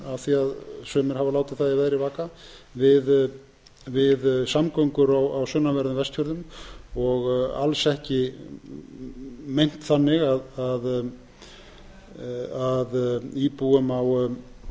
að sumir hafa látið það í veðri vaka við samgöngur á sunnanverðum vestfjörðum og alls ekki meint þannig að íbúum